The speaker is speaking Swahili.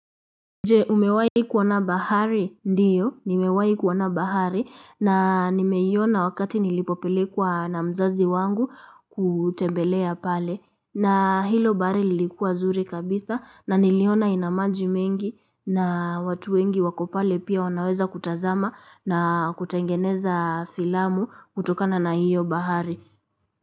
Je umewai kuona bahari ndiyo nimewai kuona bahari na nimeiona wakati nilipopelekwa na mzazi wangu kutembelea pale na hilo bahari lilikuwa zuri kabisa na niliona ina maji mengi na watu wengi wako pale pia wanaweza kutazama na kutengeneza filamu kutokana na hiyo bahari.